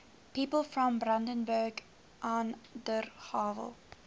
people from brandenburg an der havel